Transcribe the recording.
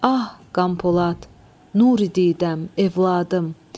Ah Qampolad, Nuri didəm, evladım.